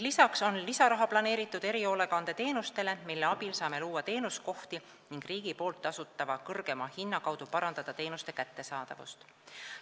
Lisaraha on planeeritud ka erihoolekandeteenustele, mille abil saame luua teenuskohti ning riigi poolt tasutava kõrgema hinna kaudu parandada teenuste kättesaadavust.